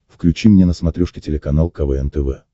включи мне на смотрешке телеканал квн тв